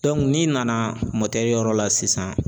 n'i nana yɔrɔ la sisan